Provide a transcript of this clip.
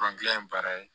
ye baara ye